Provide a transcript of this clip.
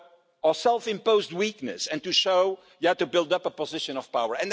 and our self-imposed weakness and to show you have to build up a position of power.